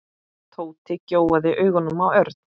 Tóti gjóaði augunum á Örn.